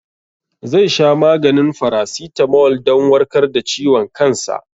Zai sha maganin farasitamol dan warkar da ciwon kansa.